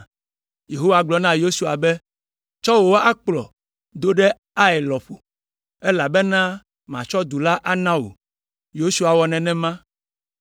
Yehowa gblɔ na Yosua be, “Tsɔ wò akplɔ do ɖe Ai lɔƒo, elabena matsɔ du la ana wò.” Yosua wɔ nenema.